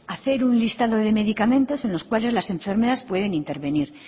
hacer un listado de medicamentos en los cuales las enfermeras pueden intervenir